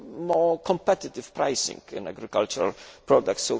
more competitive pricing for agricultural products.